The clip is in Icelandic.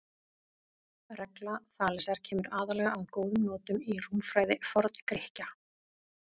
Regla Þalesar kemur aðallega að góðum notum í rúmfræði Forngrikkja.